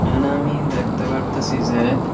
এখানে আমি দেখতে পারতেসি যে--